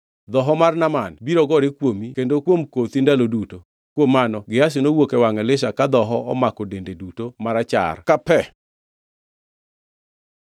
Dhoho mar Naaman biro gore kuomi kendo kuom kothi ndalo duto.” Kuom mano Gehazi nowuok e wangʼ Elisha ka dhoho omako dende duto marachar ka pe.